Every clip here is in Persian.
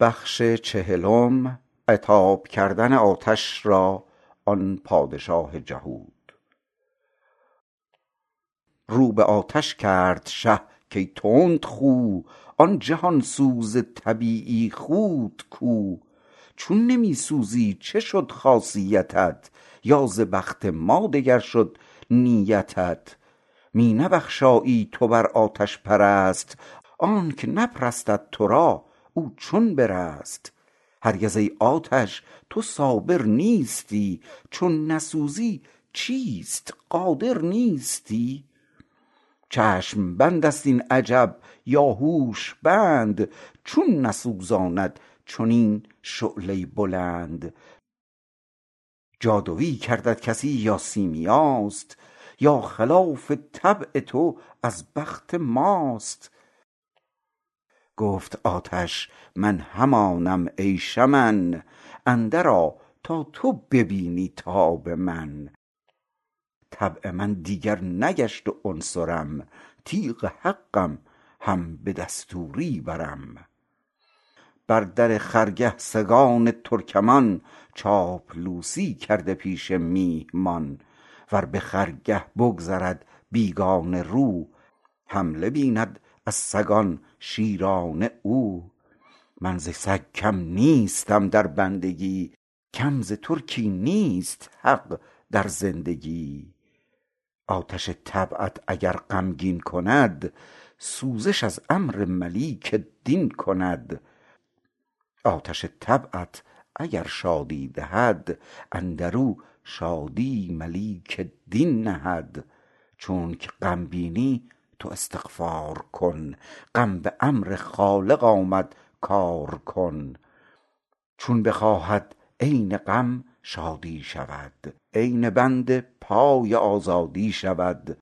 رو به آتش کرد شه کای تندخو آن جهان سوز طبیعی خوت کو چون نمی سوزی چه شد خاصیتت یا ز بخت ما دگر شد نیتت می نبخشایی تو بر آتش پرست آنک نپرستد ترا او چون برست هرگز ای آتش تو صابر نیستی چون نسوزی چیست قادر نیستی چشم بندست این عجب یا هوش بند چون نسوزاند چنین شعله بلند جادوی کردت کسی یا سیمیاست یا خلاف طبع تو از بخت ماست گفت آتش من همانم ای شمن اندر آ تا تو ببینی تاب من طبع من دیگر نگشت و عنصرم تیغ حقم هم به دستوری برم بر در خرگه سگان ترکمان چاپلوسی کرده پیش میهمان ور بخرگه بگذرد بیگانه رو حمله بیند از سگان شیرانه او من ز سگ کم نیستم در بندگی کم ز ترکی نیست حق در زندگی آتش طبعت اگر غمگین کند سوزش از امر ملیک دین کند آتش طبعت اگر شادی دهد اندرو شادی ملیک دین نهد چونک غم بینی تو استغفار کن غم بامر خالق آمد کار کن چون بخواهد عین غم شادی شود عین بند پای آزادی شود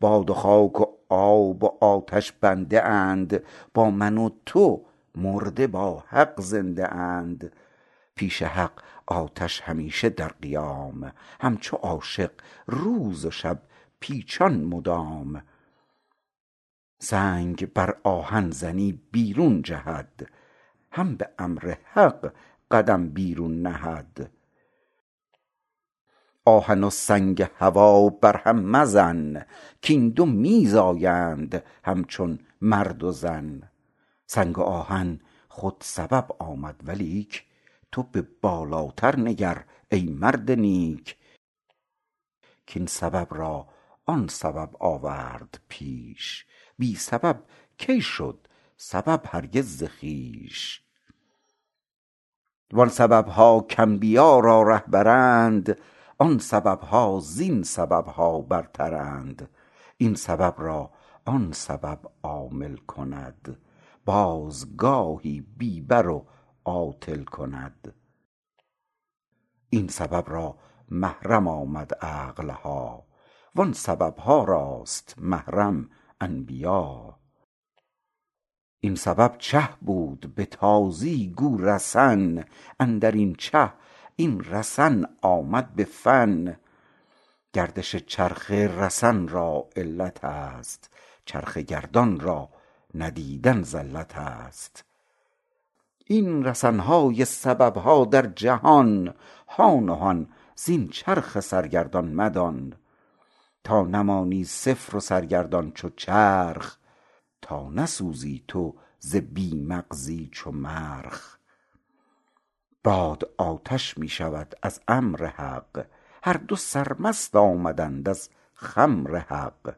باد و خاک و آب و آتش بنده اند با من و تو مرده با حق زنده اند پیش حق آتش همیشه در قیام همچو عاشق روز و شب پیچان مدام سنگ بر آهن زنی بیرون جهد هم به امر حق قدم بیرون نهد آهن و سنگ هوا بر هم مزن کین دو می زایند همچون مرد و زن سنگ و آهن خود سبب آمد ولیک تو به بالاتر نگر ای مرد نیک کین سبب را آن سبب آورد پیش بی سبب کی شد سبب هرگز ز خویش و آن سببها کانبیا را رهبرند آن سببها زین سببها برترند این سبب را آن سبب عامل کند باز گاهی بی بر و عاطل کند این سبب را محرم آمد عقلها و آن سببها راست محرم انبیا این سبب چه بود بتازی گو رسن اندرین چه این رسن آمد به فن گردش چرخه رسن را علتست چرخه گردان را ندیدن زلتست این رسنهای سببها در جهان هان و هان زین چرخ سرگردان مدان تا نمانی صفر و سرگردان چو چرخ تا نسوزی تو ز بی مغزی چو مرخ باد آتش می شود از امر حق هر دو سرمست آمدند از خمر حق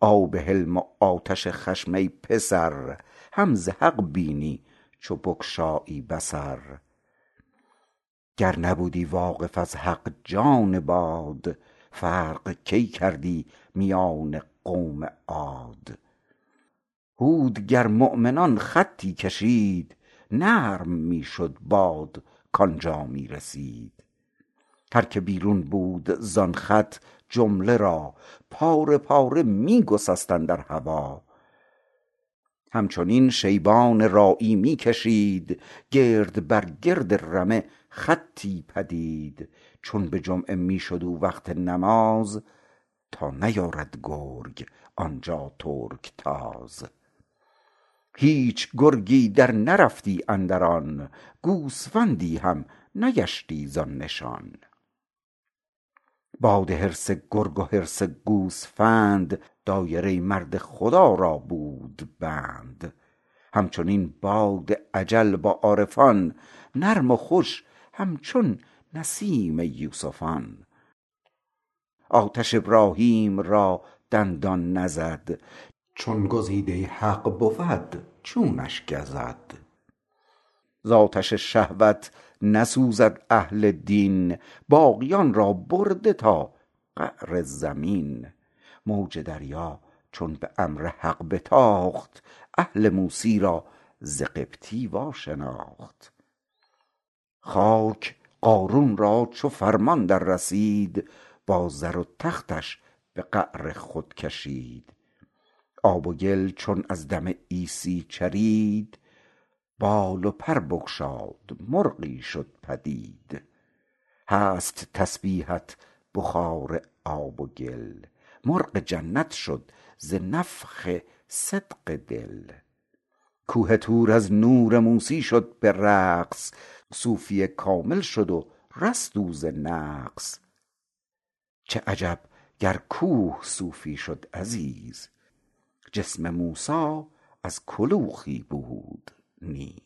آب حلم و آتش خشم ای پسر هم ز حق بینی چو بگشایی بصر گر نبودی واقف از حق جان باد فرق کی کردی میان قوم عاد هود گرد مؤمنان خطی کشید نرم می شد باد کانجا می رسید هر که بیرون بود زان خط جمله را پاره پاره می گسست اندر هوا همچنین شیبان راعی می کشید گرد بر گرد رمه خطی پدید چون به جمعه می شد او وقت نماز تا نیارد گرگ آنجا ترک تاز هیچ گرگی در نرفتی اندر آن گوسفندی هم نگشتی زان نشان باد حرص گرگ و حرص گوسفند دایره مرد خدا را بود بند همچنین باد اجل با عارفان نرم و خوش همچون نسیم یوسفان آتش ابراهیم را دندان نزد چون گزیده حق بود چونش گزد ز آتش شهوت نسوزد اهل دین باقیان را برده تا قعر زمین موج دریا چون به امر حق بتاخت اهل موسی را ز قبطی واشناخت خاک قارون را چو فرمان در رسید با زر و تختش به قعر خود کشید آب و گل چون از دم عیسی چرید بال و پر بگشاد مرغی شد پرید هست تسبیحت بخار آب و گل مرغ جنت شد ز نفخ صدق دل کوه طور از نور موسی شد به رقص صوفی کامل شد و رست او ز نقص چه عجب گر کوه صوفی شد عزیز جسم موسی از کلوخی بود نیز